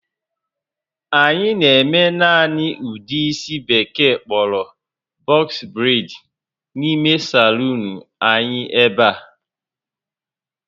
Anyị na-eme naanị ụdị isi ndị Bekee kpọrọ "box braids" n'ime saluun l anyị ebe a